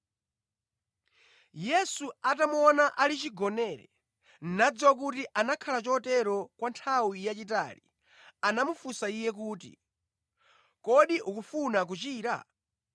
Yesu atamuona ali chigonere, nadziwa kuti anakhala chotero kwa nthawi yayitali, anamufunsa iye kuti, “Kodi ukufuna kuchira?”